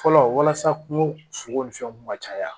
Fɔlɔ walasa kungo sogo ni fɛnw ka caya